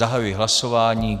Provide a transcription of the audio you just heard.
Zahajuji hlasování.